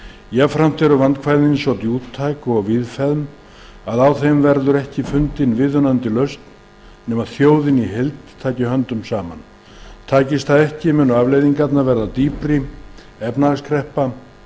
jafnframt eru vandkvæðin svo djúptæk og víðfeðm að á þeim verður ekki fundin viðunandi lausn nema þjóðin í heild taki höndum saman takist það ekki munu afleiðingarnar verða dýpri efnahagskreppa